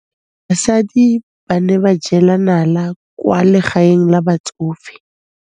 Basadi ba ne ba jela nala kwaa legaeng la batsofe.